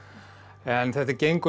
en þetta gengur